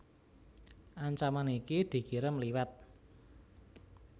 Ancaman iki dikirim liwat